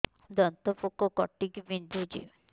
ଦାନ୍ତ ପୋକ କାଟିକି ବିନ୍ଧୁଛି